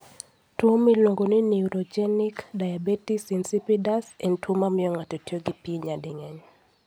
Tuwo miluongo ni neurogenic diabetes insipidus en tuwo mamiyo ng'ato tiyo gi pi nyading'eny.